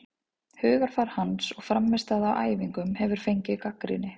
Hugarfar hans og frammistaða á æfingum hefur fengið gagnrýni.